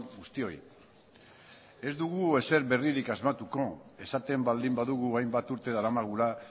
guztioi ez dugu ezer berririk asmatuko esaten baldin badugu hainbat urte daramagula